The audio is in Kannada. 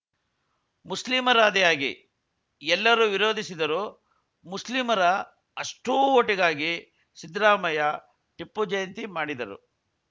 ಮುಸ್ಲಿಮರಾದಿಯಾಗಿ ಎಲ್ಲರೂ ವಿರೋಧಿಸಿದರೂ ಮುಸ್ಲಿಮರ ಅಷ್ಟೂಓಟಿಗಾಗಿ ಸಿದ್ದರಾಮಯ್ಯ ಟಿಪ್ಪು ಜಯಂತಿ ಮಾಡಿದರು